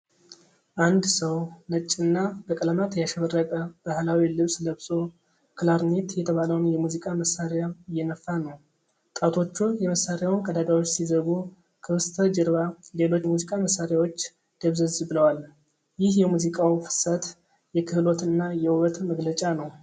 አንድ ሰው ነጭና በቀለማት ያሸበረቀ ባህላዊ ልብስ ለብሶ፣ ክላርኔት የተባለውን የሙዚቃ መሣሪያ እየነፋ ነው። ጣቶቹ የመሳሪያውን ቀዳዳዎች ሲዘጉ፣ ከበስተጀርባ ሌሎች የሙዚቃ መሳሪያዎች ደብዘዝ ብለዋል። ይህ የሙዚቃው ፍሰት፣ የክህሎትና የውበት መግለጫ ነው።